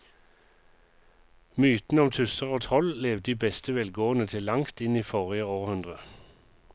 Mytene om tusser og troll levde i beste velgående til langt inn i forrige århundre.